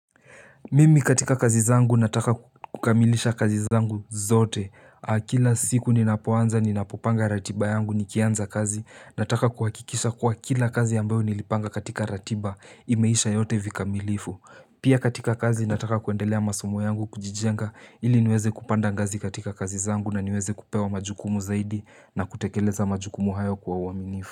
Mimi katika kazi zangu nataka kukamilisha kazi zangu zote Akila siku ninapoanza ninapopanga ratiba yangu nikianza kazi Nataka kuhakikisha kwa kila kazi ambayo nilipanga katika ratiba imeisha yote vika milifu Pia katika kazi nataka kuendelea masomo yangu kujijenga ili niweze kupanda ngazi katika kazi zangu na niweze kupewa majukumu zaidi na kutekeleza majukumu hayo kwa uaminifu.